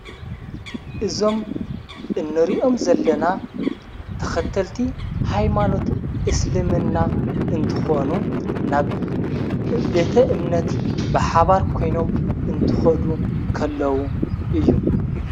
እዞም እንርኦም ዘለና ተኸተልቲ ኃይማኖት እስልምና እንትኾኑ ናብ ቤተ እምነት ብሓባር ኮይኖም እንትኸዱ ኸለዉ እዩ።